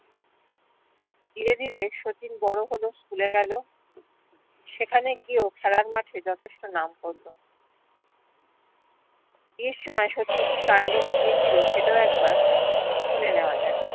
ধীরে ধীরে শচীন বড় হচ্ছস school এ গেলো সেখানে গিয়েও খেলার মাঠে যথেষ্ট নাম পরল বিয়ের সময় শচীন কি কান্ড ঘটিয়েছিলো সেটাও একবার শুনে নেওয়া যাক